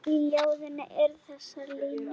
Í ljóðinu eru þessar línur